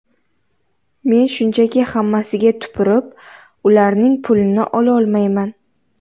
Men shunchaki, hammasiga tupurib, ularning pulini ololmayman.